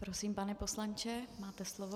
Prosím, pane poslanče, máte slovo.